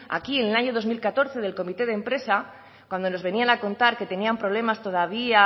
aquí en el año dos mil catorce del comité de empresa cuando nos venían a contar que tenían problemas todavía